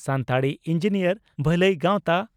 Santali engineer ᱵᱷᱟᱹᱞᱟᱹᱭ ᱜᱟᱣᱛᱟ